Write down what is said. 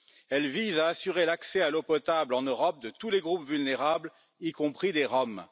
Elle vise à assurer l'accès à l'eau potable en Europe de tous les groupes vulnérables, y compris des Roms.